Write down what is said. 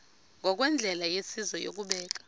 ngokwendlela yesizwe yokubeka